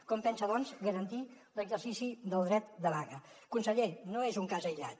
com pensa doncs garantir l’exercici del dret de vaga conseller no és un cas aïllat